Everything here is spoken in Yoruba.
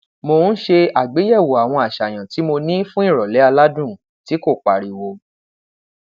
mo n ṣe agbeyẹwo awọn aṣayan ti mo ni fun irọlẹ aladun ti ko pariwo